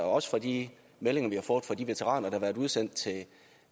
også fra de meldinger vi har fået fra de veteraner der har været udsendt